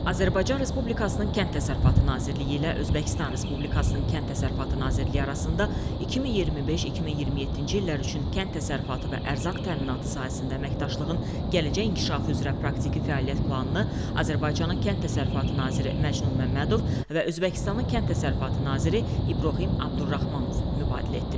Azərbaycan Respublikasının Kənd Təsərrüfatı Nazirliyi ilə Özbəkistan Respublikasının Kənd Təsərrüfatı Nazirliyi arasında 2025-2027-ci illər üçün kənd təsərrüfatı və ərzaq təminatı sahəsində əməkdaşlığın gələcək inkişafı üzrə praktiki fəaliyyət planını Azərbaycanın Kənd Təsərrüfatı naziri Məcnun Məmmədov və Özbəkistanın Kənd Təsərrüfatı naziri İbrahim Abdurrahmanov mübadilə etdilər.